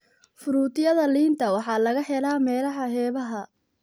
Fruityada liinta waxaa laga helaa meelaha xeebaha.